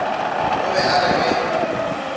o be a re ge